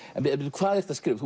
hvað ertu að skrifa